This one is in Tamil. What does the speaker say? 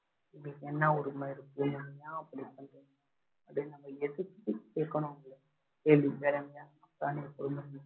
உங்களுக்கு என்ன உரிமை இருக்கு ஏன் அப்படி பண்றீங்க அப்படின்னு நம்ம எதிர்த்து கேக்கணும் அவங்கள கேள்வி